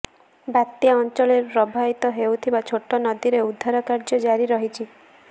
ବାତ୍ୟା ଅଞ୍ଚଳରେ ପ୍ରବାହିତ ହେଉଥିବା ଛୋଟ ନଦୀରେ ଉଦ୍ଧାର କାର୍ୟ୍ୟ ଜାରି ରହିଛି